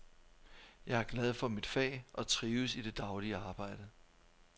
Jeg er glad for mit fag og trives i det daglige arbejde.